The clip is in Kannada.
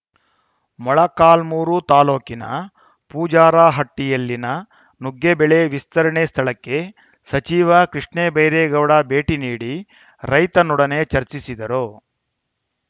ಮೊಳಕಾಲ್ಮುರು ತಾಲೂಕಿನ ಪೂಜಾರಹಟ್ಟಿಯಲ್ಲಿನ ನುಗ್ಗೆ ಬೆಳೆ ವಿಸ್ತರಣೆ ಸ್ಥಳಕ್ಕೆ ಸಚಿವ ಕೃಷ್ಣ ಬೈರೇಗೌಡ ಭೇಟಿ ನೀಡಿ ರೈತನೊಡನೆ ಚರ್ಚಿಸಿದರು